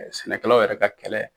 Sɛnɛkɛlaw yɛrɛ ka kɛlɛ.